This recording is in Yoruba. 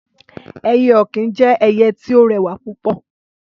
Ẹyẹ ọ̀kín jẹ́ ẹyẹ tí ó rẹwà púpọ̀